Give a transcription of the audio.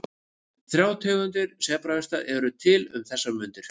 Þrjár tegundir sebrahesta eru til um þessar mundir.